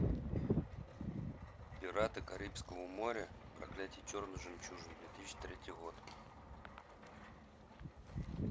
пираты карибского моря проклятие черной жемчужины две тысячи третий год